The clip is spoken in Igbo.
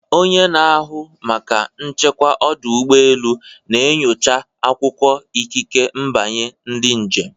Onye na-ahụ maka nchekwa ọdụ ụgbọ elu na-enyocha akwụkwọ ikike mbanye ndị njem.